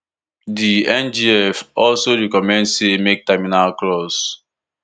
di ngf also recommend say make terminal clause